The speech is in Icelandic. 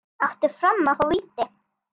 Átti Fram að fá víti?